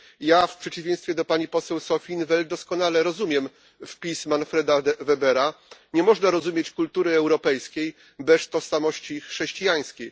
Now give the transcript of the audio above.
Ja w przeciwieństwie do pani poseł Sophia in t' Veld doskonale rozumiem wpis Manfreda Webera, nie można rozumieć kultury europejskiej bez tożsamości chrześcijańskiej.